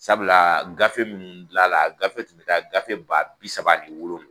Sabula gafe minnu dila la a gafew tun bɛ taa gafe ba bi saba ani wolonwula.